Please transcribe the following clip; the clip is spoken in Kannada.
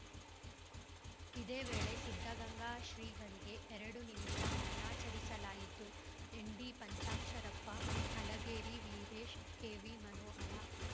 ಇದೇ ವೇಳೆ ಸಿದ್ದಗಂಗಾ ಶ್ರೀಗಳಿಗೆ ಎರಡು ನಿಮಿಷ ಮೌನಾಚರಿಸಲಾಯಿತು ಎನ್‌ಡಿಪಂಚಾಕ್ಷರಪ್ಪ ಹಲಗೇರಿ ವೀರೇಶ್‌ ಕೆವಿಮನೋಹರ